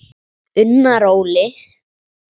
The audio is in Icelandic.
Unnar Óli.